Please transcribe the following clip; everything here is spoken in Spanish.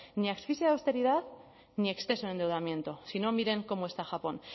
ni asfixia de austeridad ni exceso en endeudamiento si no miren cómo está japón